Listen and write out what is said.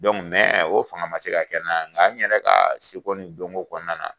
o fanga man se ka kɛ n na nga n yɛrɛ ka seko ni dɔnko kɔnɔna na